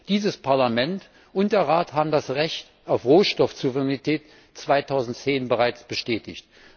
Dieses Parlament und der Rat haben das Recht auf Rohstoffsouveränität 2010 bereits bestätigt.